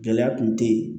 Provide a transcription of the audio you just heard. Gɛlɛya kun te ye